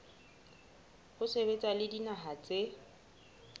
ho sebetsa le dinaha tse